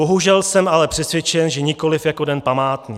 Bohužel jsem ale přesvědčen, že nikoliv jako den památný.